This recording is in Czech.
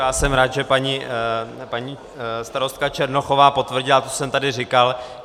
Já jsem rád, že paní starostka Černochová potvrdila to, co jsem tady říkal.